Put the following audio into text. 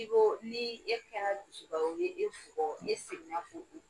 I ko ni e kɛra dusu ba ye u bɛ e e segin na